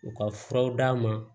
U ka furaw d'a ma